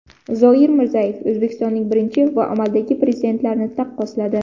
Zoir Mirzayev O‘zbekistonning birinchi va amaldagi prezidentlarini taqqosladi.